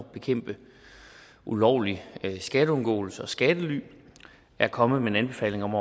at bekæmpe ulovlig skatteundgåelse og skattely er kommet med en anbefaling om